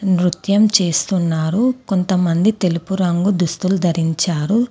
నృత్యం చేస్తున్నారు. కొంతమంది తెలుపు రంగు దుస్తులు ధరించారు.